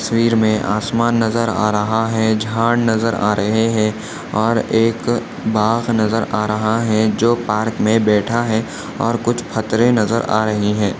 इस तस्वीर मे आसमान नजर आ रहा है झाड नजर आ रहे है और एक बाख नजर आ रहा है जो पार्क मे बैठा है और कुछ पत्थरे नजर आ रही है।